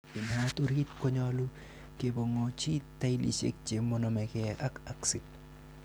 Inaat orit konyolu kepong'onchi tailisiek che monomege ak aksid.